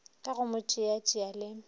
ka go mo tšeatšea le